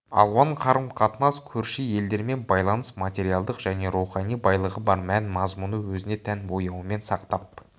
алуан қарым-қатынас көрші елдермен байланыс материалдық және рухани байлығы бар мән-мазмұны өзіне тән бояуымен сақтап